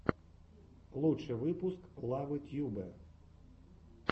лучший выпуск лавэ тьюбэ